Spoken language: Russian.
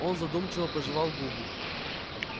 он задумчиво пожевал губу